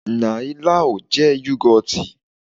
Nai láò jẹ́ yọ́gọ́tì.